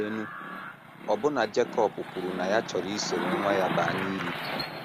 Leenụ, ọbụna Jekọb kwuru na ya chọrọ isoro nwa ya baa n’ili!